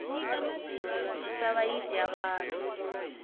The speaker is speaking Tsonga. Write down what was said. misava yi dya vanhu